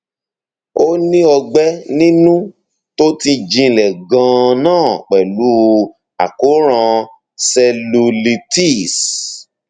ó ní ọgbẹ inú tó ti jinlẹ ganan pẹlú àkóràn cellulitis